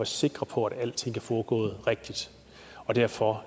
sikker på at alting er foregået rigtigt og derfor